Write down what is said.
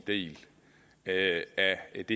et